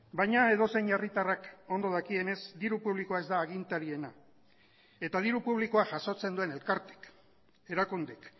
baina edozein herritarrak ondo dakienez diru publikoa ez da agintariena eta diru publikoa jasotzen duen elkartek erakundek